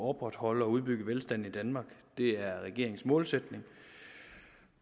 opretholde og udbygge velstanden i danmark det er regeringens målsætning